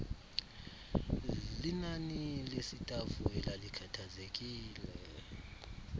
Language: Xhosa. linani lesitafu elalikhathazekile